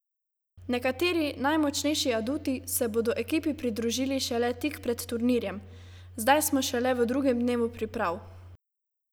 Nekateri najmočnejši aduti se bodo ekipi pridružili šele tik pred turnirjem: "Zdaj smo šele v drugem dnevu priprav.